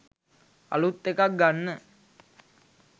අලූත් එකක් ගන්න